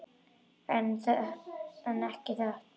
En ekki þetta.